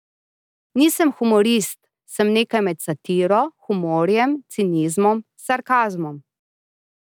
Nisem humorist, sem nekaj med satiro, humorjem, cinizmom, sarkazmom.